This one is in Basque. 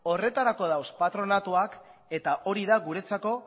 horretarako daude patronatuak eta hori da guretzako